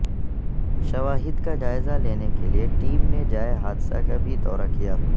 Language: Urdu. شواہد کا جائزہ لینے کے لیے ٹیم نے جائے حادثہ کا بھی دورہ کیا